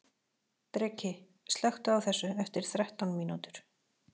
Dreki, slökktu á þessu eftir þrettán mínútur.